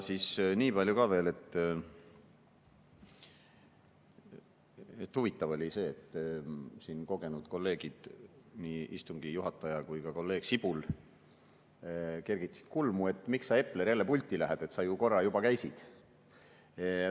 Niipalju ka veel, et huvitav oli see, kui kogenud kolleegid, nii istungi juhataja kui ka kolleeg Sibul, kergitasid kulmu, et miks sa, Epler, jälle pulti lähed, sa korra juba käisid.